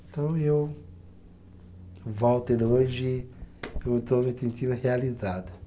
Então eu, volto, e hoje eu estou me sentindo realizado.